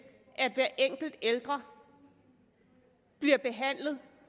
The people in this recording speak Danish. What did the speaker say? at hver enkelt ældre bliver behandlet